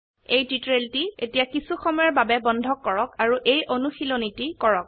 এই টিউটোৰিয়েলটি এতিয়া কিছু সময়ৰ বাবে বন্ধ কৰক আৰু এই অনুশীলনীটি কৰক